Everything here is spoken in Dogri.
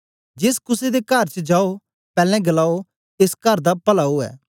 जेस कुसे दे कर च जाओ पैलैं गलाओं एस कर दा पला ओ